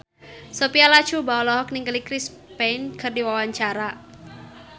Sophia Latjuba olohok ningali Chris Pane keur diwawancara